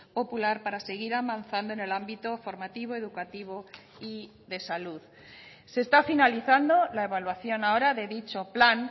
popular para seguir avanzando en el ámbito formativo educativo y de salud se está finalizando la evaluación ahora de dicho plan